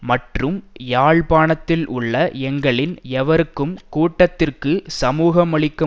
மற்றும் யாழ்ப்பாணத்தில் உள்ள எங்களில் எவருக்கும் கூட்டத்திற்கு சமூகமளிக்க